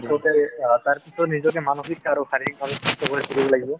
পিছতে তাৰ পিছত নিজকে মানসিক আৰু শাৰীৰিক ভাবে সুস্থ কৰি তুলিব লাগিব